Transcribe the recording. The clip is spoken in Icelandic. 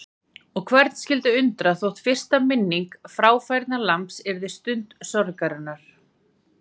Og hvern skyldi undra þótt fyrsta minning fráfærnalambs yrði stund sorgarinnar.